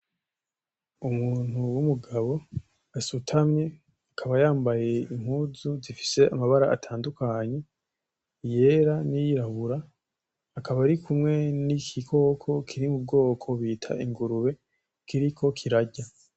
Umuntu w'umugabo asutamye akaba yambaye impuzu zifise amabara atandukanye, iyera N’iyirabura, akaba arikumwe niki gikoko kiri mu bwoko bita ingurube kiriko kirarya.